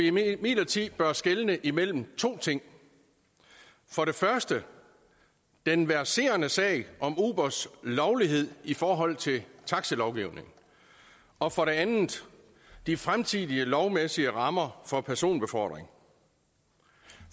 imidlertid bør skelne imellem to ting for det første den verserende sag om ubers lovlighed i forhold til taxilovgivning og for det andet de fremtidige lovmæssige rammer for personbefordring